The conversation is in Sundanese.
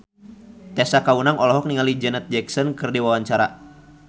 Tessa Kaunang olohok ningali Janet Jackson keur diwawancara